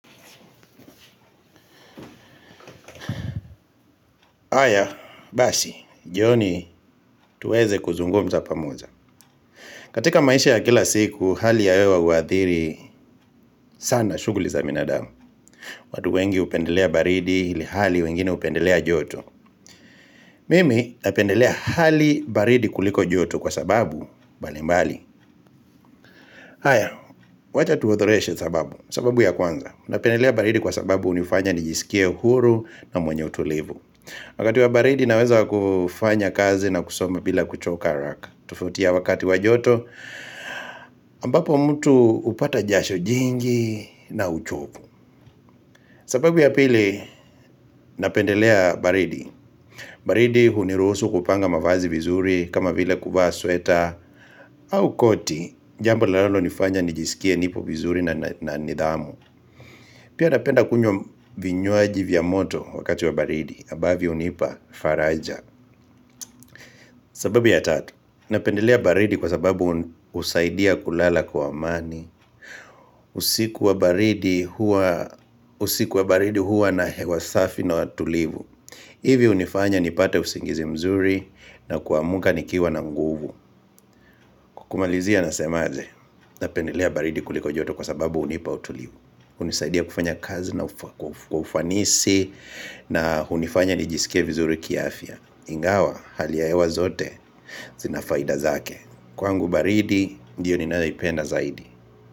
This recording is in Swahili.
Haya, basi, jioni, tuweze kuzungumza pamoja. Katika maisha ya kila siku, hali ya hewa huadhiri sana shughuli za binadamu. Watu wengi hupendelea baridi, ilhali wengine hupendelea joto. Mimi, napendelea hali baridi kuliko joto kwa sababu, mbali mbali. Haya, wacha tuothoreshe sababu, sababu ya kwanza. Napendelea baridi kwa sababu hunifanya nijisikie huru na mwenye utulivu. Wakati wa baridi, naweza kufanya kazi na kusoma bila kuchoka haraka. Tofauti ya wakati wa joto ambapo mtu hupata jasho jingi na uchovu sababu ya pili napendelea baridi baridi huniruhusu kupanga mavazi vizuri kama vile kuvaa sweta au koti Jambo linalo nifanya nijisikie nipo vizuri na nidhamu Pia napenda kunywa vinywaji vya moto wakati wa baridi ambavyo hunipa faraja sababu ya tatu Napendelea baridi kwa sababu husaidia kulala kwa amani usiku wa baridi huwa na hewa safi na tulivu hivyo hunifanya nipate usingizi mzuri na kuamka nikiwa na nguvu kumalizia nasemaje napendelea baridi kuliko joto kwa sababu hunipa utulivu hunisaidia kufanya kazi na kwa ufanisi na hunifanya nijisikie vizuri kiafya Ingawa hali ya hewa zote zina faida zake Kwangu baridi ndiyo ninayoipenda zaidi.